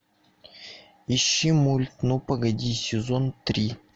ищи мульт ну погоди сезон три